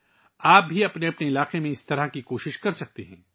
آپ بھی اپنے اپنے علاقوں میں ایسی کوششیں کر سکتے ہیں